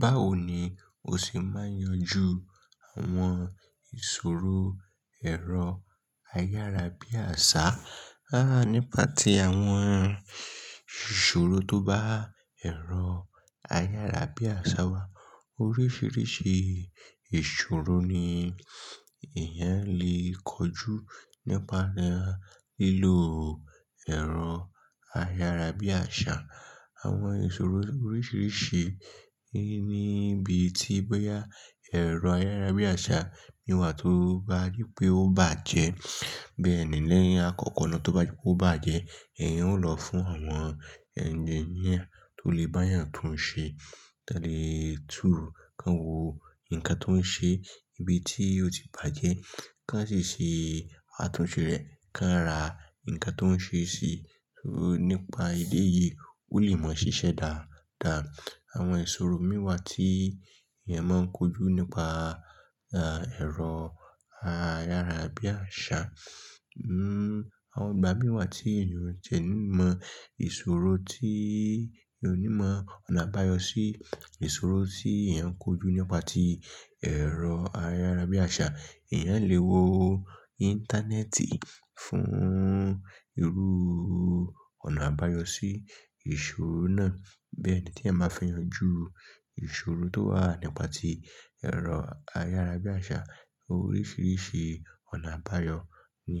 Báwo ni o ṣe máa ń yanjú àwọn ìṣòro ẹ̀rọ ayárabíàṣá? Nípa tí àwọn ìṣòro tó bá ẹ̀rọ ayárabíàṣá wa. Oríṣiríṣi ìṣòro ni ìyẹn lè kojú nípa lílo ẹ̀rọ ayárabíàṣá. Àwọn ìṣòro oríṣiríṣi níbi tí bóyá ẹ̀rọ ayárabíàṣá mi wà tó bá rí pé ó bàjẹ́. Bẹ́ẹ̀ ni lẹ́yìn àkọ́kọ́ lọ tó bá jẹ́ pé ó bàjẹ́, ìyẹn ó lọ fún àwọn ẹ́ńjìnìa tó lè bá ọ yàn tó ń ṣe. Tálé ètùú kí wọ́n wo nǹkan tó ń ṣe ní ibi tí ó ti bàjẹ́, kí wọ́n sì ṣe àtúnṣe rẹ̀, kí wọ́n ra nǹkan tó ń ṣe sì. Nípa ìdí èyí, ó lè máa ṣiṣẹ́ dáadáa. Àwọn ìṣòro mìíràn tí èèyàn máa ń kojú nípa ẹ̀rọ ayárabíàṣá, àwọn ìgbà mìí tí èèyàn ò ní mọ ìṣòro tí èèyàn ò ní mọ ọ̀nà àbáyọ sí ìṣòro tí èèyàn ń kojú nípa ti ẹ̀rọ ayárabíàṣá. Ìyẹn lè wo Íńtánẹ́ẹ̀tì fún irú ọ̀nà àbáyọ sí ìṣòro náà. Bẹ́ẹ̀ ni tí è máa fi yanjú ìṣòro tó wà nípa ti ẹ̀rọ ayárabíàṣá. Oríṣiríṣi ọ̀nà àbáyọ̀ ni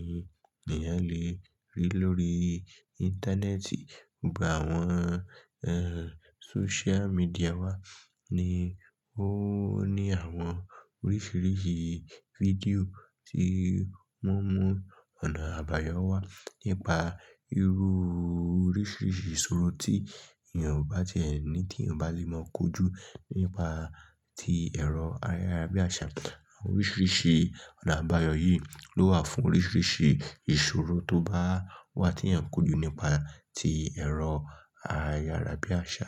èèyàn lè rí lórí Íńtánẹ́ẹ̀tì. Ìgbà àwọn sóṣúlà mídìà wà ni ó ní àwọn oríṣiríṣi fídíò tí wọ́n mú ọ̀nà àbáyọ wá nípa irú oríṣiríṣi ìṣòro tí èèyàn bá tie ní tí ò bá lè mọ kojú nípa tí ẹ̀rọ ayárabíàṣá. Àwọn oríṣiríṣi ọ̀nà àbáyọ̀ yìí ló wà fún oríṣiríṣi ìṣòro tó bá wà tí èèyàn ń kojú nípa tí ẹ̀rọ ayárabíàṣá.